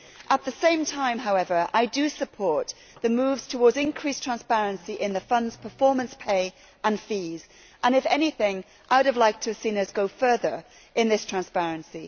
At the same time, however, I support the moves towards increased transparency in the funds' performance pay and fees and if anything I would have liked to have seen us go further in this transparency.